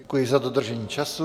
Děkuji za dodržení času.